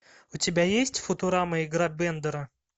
у тебя есть футурама игра бендера